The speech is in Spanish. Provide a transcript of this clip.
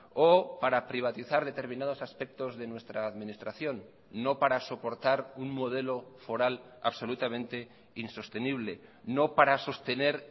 o para privatizar determinados aspectos de nuestra administración no para soportar un modelo foral absolutamente insostenible no para sostener